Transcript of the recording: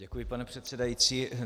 Děkuji, pane předsedající.